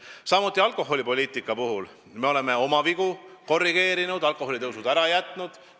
Mis puutub alkoholipoliitikasse, siis me oleme oma vigu korrigeerinud, alkoholiaktsiisi tõusud ära jätnud.